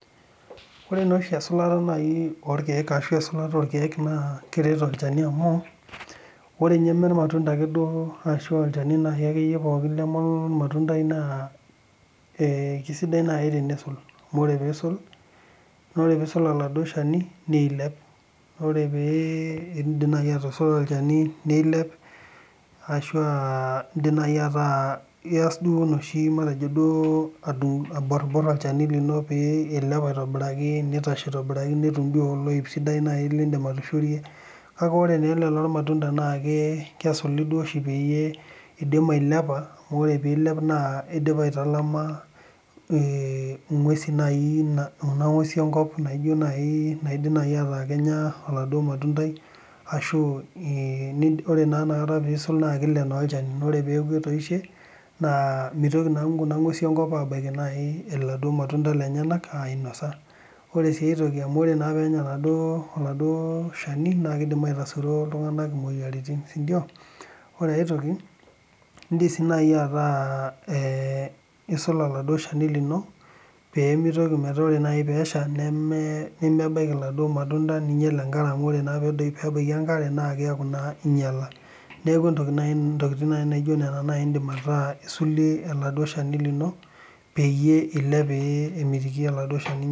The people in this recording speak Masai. Ore naa oshi esulata orkeek naa keret olchani amu ore ninye mmee irmatunda arashu olchani ake duo leme ormatundai naaee kisaidai naaji tenisul amu ore pisul oladuo Shani nilep orepidip atusula olchani nilepashua edip naaji atasa enoshi matejo aborbor olchani pilep aitobiraki nitashe aitobiraki netum doi oloip sidai lidim atushurie kake ore naa ele loormatunda naa kesuli oshi peyie edim ailepa amu ore pidip ailepa edipa aitalama eng'usi naaji Kuna ng'uesi enkop naijio naaji naidim naaji meeta keenya oladuo matundai arashu ore enakata pisul naa kilep olchani neeku oree peeku etoishe naa mitoki naa Kuna ng'uesi enkop abaiki naijio elelo matunda lenyana ainosa ore sii aitoki naa ore naa penya oladuo Shani naa kidim aitasuro iltung'ana emoyiaritin sindio ore aitoki indim sii naaji ata esul oladuo Shani lino pee mitoki metaa ore naaji peshaa nemebaiki eladuo matunda ninyial enare amu ore naa pee ebaiki enkare neeku enyiala neeku entoki naaji ntokitin naijio Nena indim ataa esulie oladuo Shani lino peyie elep pemiti oladuo shani